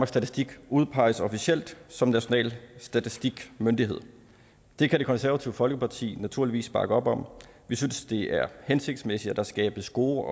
statistik udpeges officielt som national statistikmyndighed det kan det konservative folkeparti naturligvis bakke op om vi synes det er hensigtsmæssigt at der skabes gode